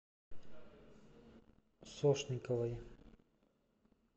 сошниковой